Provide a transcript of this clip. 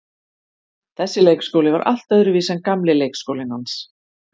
Þessi leikskóli var allt öðruvísi en gamli leikskólinn hans.